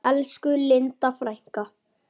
Elsku Linda frænka.